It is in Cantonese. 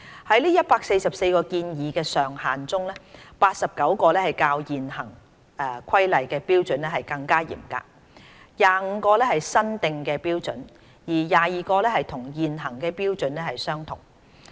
在144個建議上限中 ，89 個較現行《規例》的標準更嚴格 ，25 個是新訂的標準，而22個與現行標準相同。